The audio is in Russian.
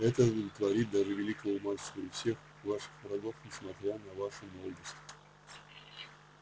это удовлетворит даже великого мастера и всех ваших врагов несмотря на вашу молодость